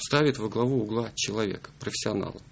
ставит во главу угла человека профессионал